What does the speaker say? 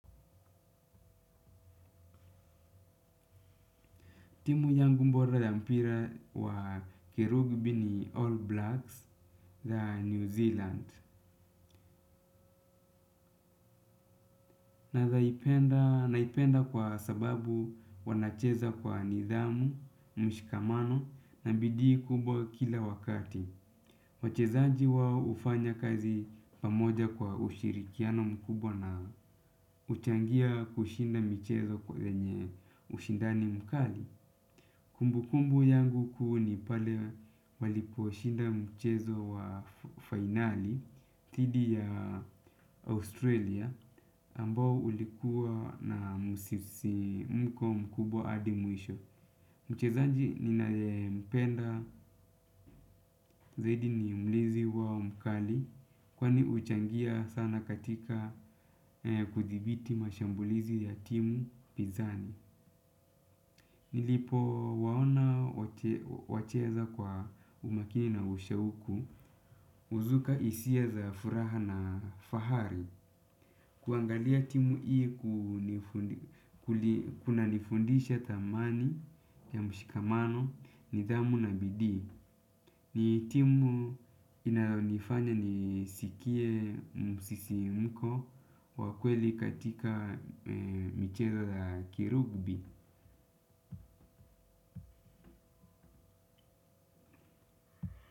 Timu yangu bora ya mpira wa kerubi ni All Blacks za New Zealand. Na naipenda kwa sababu wanacheza kwa nidhamu, mshikamano na bidii kubwa kila wakati. Wachezaji wao hufanya kazi pamoja kwa ushirikiano mkubwa na uchangia kushinda michezo kwa wenye ushindani mkali. Kumbukumbu yangu kuu ni pale walikoshinda mchezo wa finali thidi ya Australia ambao ulikuwa na msisimko mkubwa hadi mwisho. Mchezaji ninayempenda zaidi ni mlizi wao mkali kwani huchangia sana katika kuthibiti mashambulizi ya timu Pizani. Nilipowaona wacheza kwa umakini na ushauku uzuka hisia za furaha na fahari. Kuangalia timu ii kuli kunanifundisha tamani ya mshikamano nidhamu na bidii. Ni timu inayonifanya niskie msisimko wakweli katika mcheza za kirugbi.